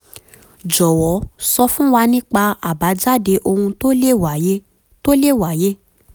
jọwọ sọ fún wa nípa àbájáde ohun tó le wàyé tó le wàyé